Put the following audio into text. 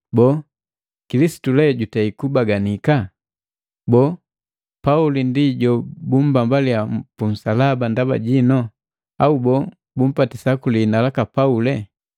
Boo, Kilisitu jutei kubaganika? Boo, Pauli ndi jobumbambaliya punsalaba ndaba jino? Au boo, bumbatisa kuli hina laka Pauli?